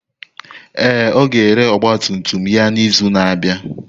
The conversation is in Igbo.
Ee, ọ ga-ere ọgba tum tum ya n'izu na-abịa.